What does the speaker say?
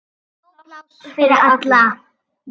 Nóg pláss fyrir alla.